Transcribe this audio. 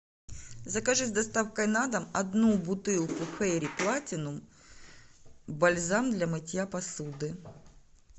закажи с доставкой на дом одну бутылку фейри платинум бальзам для мытья посуды